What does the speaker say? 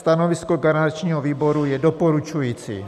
Stanovisko garančního výboru je doporučující.